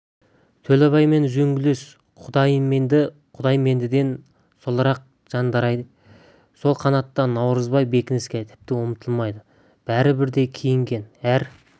төлебаймен үзеңгілес құдайменді құдаймендіден солырақ жанайдар сол қанатта наурызбай бекініске тіпті ұмытылмайды бәрі бірдей киінген әр